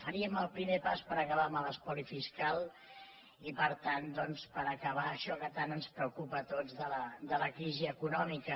faríem el primer pas per acabar amb l’espoli fiscal i per tant doncs per acabar això que tant ens preocupa a tots de la crisi econòmica